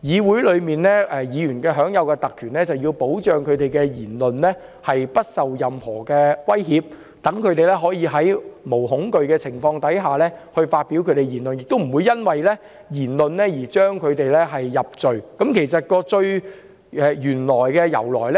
議會議員享有特權是為了保障他們的言論不受任何威脅，讓議員可以無所畏懼地發表言論，亦不會因言入罪，這便是有關特權的由來。